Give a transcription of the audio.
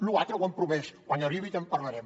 lo altre ho han promès quan arribi ja en parlarem